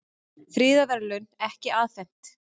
Friðarverðlaun ekki afhent